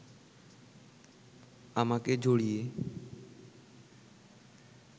আমাকে জড়িয়ে